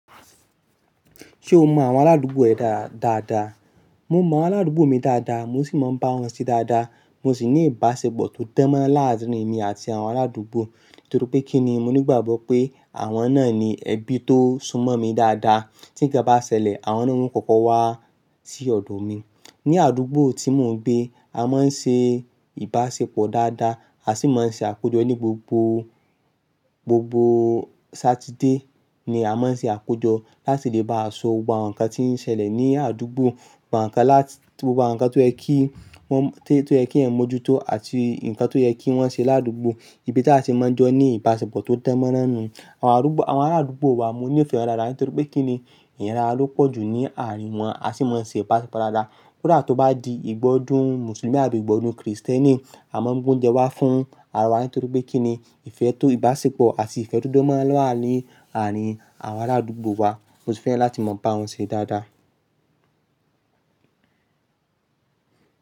Ṣé o mọ àwọn aládùúgbò ẹ dáadáa? Mo mọ àwọn aládùúgbò mi dáadáa, mo sì máa ń bá wọn ṣe dáadáa. Mo sì ní ìbáṣepọ̀ tó dán mọ́rán láàárín èmi àti àwọn aládùúgbò. Nítorí pé kíni mo ní ìgbàgbọ́ pé àwọn náà ni ẹbí tó súnmọ́ mi dáadáa. Tí nǹkan bá ṣẹlẹ̀, àwọn náà ni wọ́n kọ́kọ́ wá sí ọ̀dọ̀ mi. Ni àdúgbò tí mò ń gbé, a máa ń ṣe ìbáṣepọ̀ dáadáa, a sì máa ń ṣe àkójọ ní gbogbo, gbogbo Saturday ni a máa ń ṣe àkójọ láti lè bá sọ gbogbo àwọn nǹkan tí ń ṣẹlẹ̀ ní àdúgbò, àwọn nǹkan láti gbogbo àwọn nǹkan tó yẹ kí wọ́n, tó yẹ kí wọ́n mójú tó àti nǹkan tó yẹ kí wọ́n ṣe ládùúgbò. Ibi tí a sì máa ń jọ ní ìbáṣepọ̀ tó dán mọ́rán nu. Àwọn adùúgbò, àwọn arádùgbò wa mo ní ìfẹ́ wọn dáadáa, nítorí pé kíni ìyàrá ló pọ̀jù ní àárín wọn. A sì máa ń ṣe ìbáṣepọ̀ dáadáa. Kódà tó bá di ìgbọ́dùn Mùsùlùmí àti ìgbọ́dùn Krìstẹ́nì, a máa ń mú oúnjẹ wá fún ara wa, nítorí pé kíni ìfẹ́ tó ìbáṣepọ̀ àti ìfẹ́ to dan moran lọ́ wàá ní àárín àwọn aládùgbò wa. Mo sì fẹ́ràn láti máa bá wọn ṣe dáadáa.